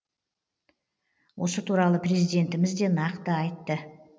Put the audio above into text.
осы туралы президентіміз де нақты айтты